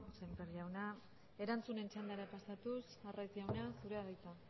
sémper jauna erantzunen txandara pasatuz arraiz jauna zurea da hitza